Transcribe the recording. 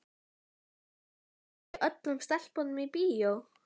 Býð ég ekki öllum stelpum í bíó?